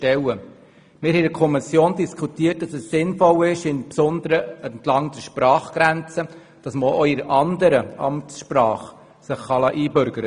Wir haben in der Kommission darüber diskutiert, dass es insbesondere entlang der Sprachgrenze sinnvoll ist, sich auch in der anderen Amtssprache einbürgern lassen zu können.